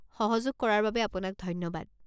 সহযোগ কৰাৰ বাবে অপোনাক ধন্যবাদ।